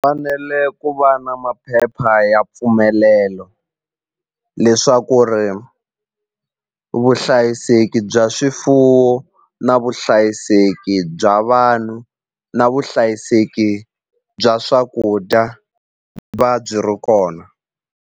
ku va na maphepha ya mpfumelelo leswaku ri vuhlayiseki bya swifuwo na vuhlayiseki bya vanhu na vuhlayiseki bya swakudya va byi ri kona.